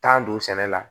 don sɛnɛ la